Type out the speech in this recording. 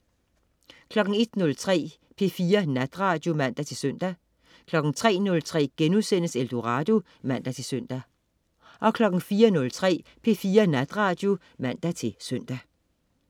01.03 P4 Natradio (man-søn) 03.03 Eldorado* (man-søn) 04.03 P4 Natradio (man-søn)